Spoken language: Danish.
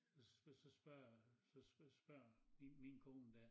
Så så spørger så så spørger min kone dér